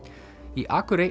í